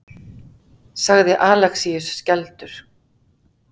sagði Alexíus skelfdur.